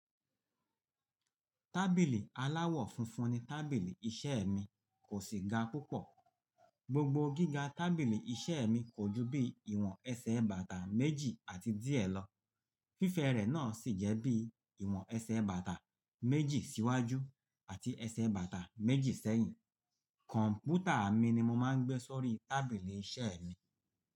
Tábìlì aláwọ̀ funfun ni tábìlì iṣẹ́ mi, kò sì ga púpọ̀. Gbogbo gíga tábìlì iṣẹ́ mi kò ju bí ìwọ̀n ẹsẹ̀ bàtà méjì àti díẹ̀ lọ. Fífẹ́ rẹ̀ náà sì jẹ́ bí ìwọ̀n ẹsẹ̀ bàtà méjì síwájú àti ẹsẹ̀ bàtà méjì sẹ́yìn. Kọ̀m̀pútà mi ni mo máa ń gbé sórí tábìlì iṣẹ́ mi.